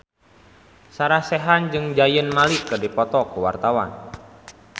Sarah Sechan jeung Zayn Malik keur dipoto ku wartawan